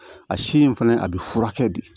A si in fɛnɛ a bɛ furakɛ de